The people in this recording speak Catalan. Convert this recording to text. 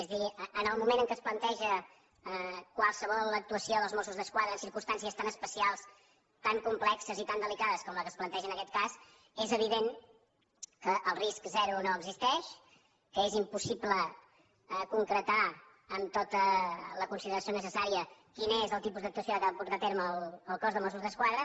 és a dir en el moment en què es planteja qualsevol actuació dels mossos d’esquadra en circumstàncies tan especials tan complexes i tan delicades com la que es planteja en aquest cas és evident que el risc zero no existeix que és impossible concretar amb tota la consideració necessària quin és el tipus d’actuació que ha de portar a terme el cos de mossos d’esquadra